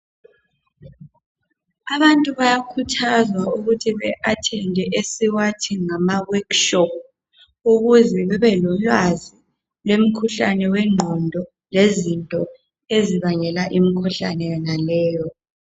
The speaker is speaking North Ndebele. Abantu bayakhuthazwa ukuthi be athende esiwathi ngamaworkshop ukuze bebe lolwaz lwemikhuhlane wengqondo lezinto ezibangela imikhuhlane yonaleyo